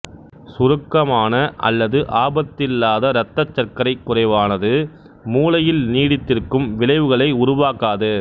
சுருக்கமான அல்லது ஆபத்தில்லாத இரத்தச் சர்க்கரைக் குறைவானது மூளையில் நீடித்திருக்கும் விளைவுகளை உருவாக்காது